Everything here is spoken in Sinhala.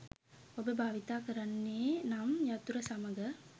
ඔබ භාවිතා කරන්නේ නම් යතුර සමඟ